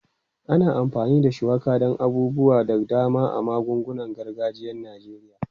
Ana amfani da shuwaka don abubuwa da dama a magungunan gargajiyan Najeriya.